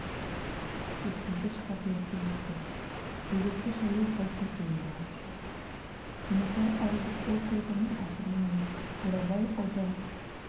өткізгіш қабілеті өсті бөгетті шаю қауіпі туындаған жоқ кенесары ауылдық округінің әкімі мен бурабай ауданы